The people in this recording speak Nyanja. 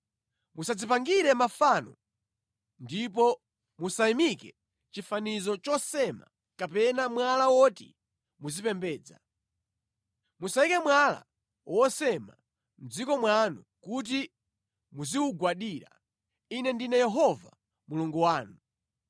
“ ‘Musadzipangire mafano ndipo musayimike chifanizo chosema kapena mwala woti mudzipembedza. Musayike mwala wosema mʼdziko mwanu kuti muziwugwadira. Ine ndine Yehova Mulungu wanu.